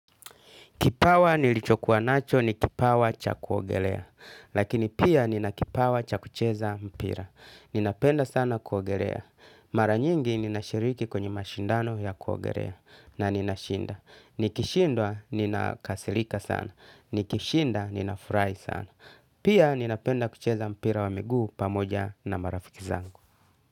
Kipawa nilichokuwa nacho ni kipawa cha kuogelea. Lakini pia nina kipawa cha kucheza mpira. Ninapenda sana kuogelea. Mara nyingi nina shiriki kwenye mashindano ya kuogelea na nina shinda. Nikishindwa nina kasirika sana. Nikishinda nina furahi sana. Pia ninapenda kucheza mpira wa miguu pamoja na marafiki zangu.